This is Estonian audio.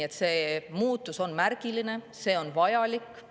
Seega, see muutus on märgiline, see on vajalik.